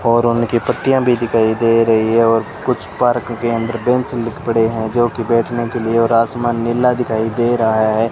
और उनकी पट्टियां भी दिखाई दे रही है और कुछ पार्क के अंदर बेंच पड़े हैं जो कि बैठने के लिए और आसमान नीला दिखाई दे रहा है।